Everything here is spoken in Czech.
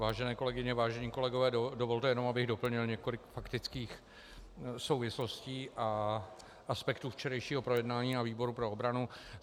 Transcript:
Vážené kolegyně, vážení kolegové, dovolte jenom, abych doplnil několik faktických souvislostí a aspektů včerejšího projednání na výboru pro obranu.